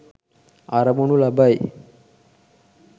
අරමුණු ලබයි.